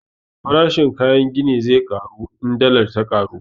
Farashin kayan gini zai ƙaru in dallar ya ƙaru